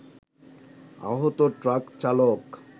আহত ট্রাক চালক